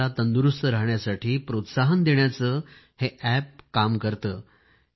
आपल्याला तंदुरूस्त राहण्यासाठी प्रोत्साहन देण्याचे कामही अॅप करते